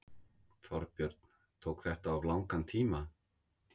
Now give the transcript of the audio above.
Þorbjörn: Tók þetta of langan tíma?